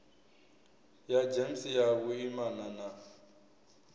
ya gems ya vhuimana na